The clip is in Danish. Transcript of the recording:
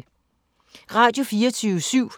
Radio24syv